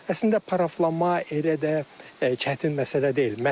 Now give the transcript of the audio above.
Əslində paraflanma elə də çətin məsələ deyil.